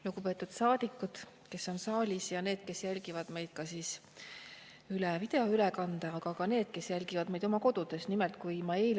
Lugupeetud saadikud, kes on saalis, ja need, kes jälgivad meid videoülekande vahendusel, aga ka need, kes jälgivad meid oma kodudes!